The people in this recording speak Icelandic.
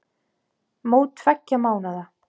Mót tveggja mánaða.